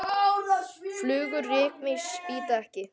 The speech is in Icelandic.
Flugur rykmýs bíta ekki.